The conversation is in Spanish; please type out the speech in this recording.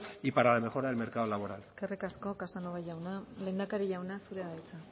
y para la mejora del mercado laboral eskerrik asko casanova jauna lehendakari jauna zurea da hitza